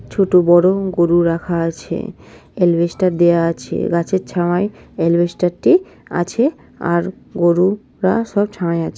ছোট বড়ো গরু রাখা আছে । এলবেস্টার দেয়া আছে। গাছের ছায়ায় এলবেস্টারটি আছে। আর গরু রা সব ছায়ায় আছে।